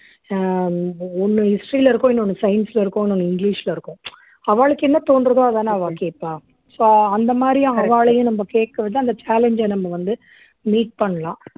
அஹ் ஒண்ணு history ல இருக்கும் இன்னொன்னு science ல இருக்கும் இன்னொன்னு இங்கிலிஷ்ல இருக்கும் அவாளுக்கு என்ன தோன்றுதோ அதானே அவா கேட்பா so அந்த மாதிரி அவாளையும் நம்ம கேக்கிறது அந்த challenge அ நம்ம வந்து meet பண்ணலாம்